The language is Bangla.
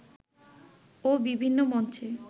ও বিভিন্ন মঞ্চে